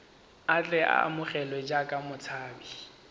tle a amogelwe jaaka motshabi